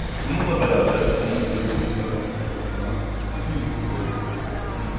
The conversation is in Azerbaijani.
Bununla bərabər onun öldüyünü və basdırıldığını bütün yuxu boyu bilirəm.